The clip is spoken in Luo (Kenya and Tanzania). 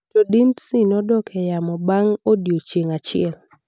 To Dimtsi nodok e yamo bang’ odiechieng’ achiel.